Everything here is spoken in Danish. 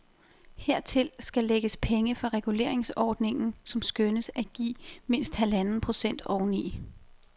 Hertil skal lægges penge fra reguleringsordningen, som skønnes at give mindst halvanden procent oveni.